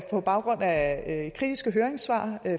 på baggrund af kritiske høringssvar